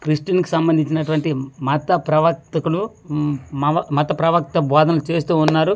Christian కి సంబందించి మత ప్రవర్తకులు ఊ మావ మత ప్రవర్త బోధనలు చేస్తువున్నారు.